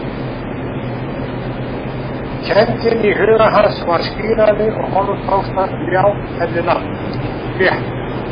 Kenndin í huga hans varð skýrari og honum tókst að ljá henni nafn, léttir.